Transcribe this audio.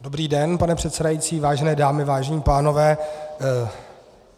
Dobrý den, pane předsedající, vážené dámy, vážení pánové.